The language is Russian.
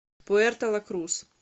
пуэрто ла крус